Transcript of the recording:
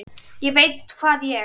ÉG VEIT HVAÐ ÉG